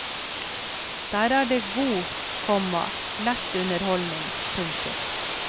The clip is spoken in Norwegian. Der er det god, komma lett underholdning. punktum